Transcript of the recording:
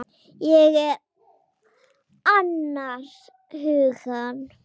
Ég er annars hugar.